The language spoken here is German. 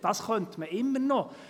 Das könnte man immer noch.